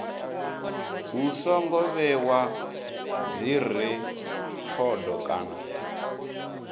hu songo vhewa dzirekhodo kana